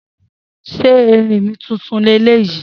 Se erinmi tuntun leleyi?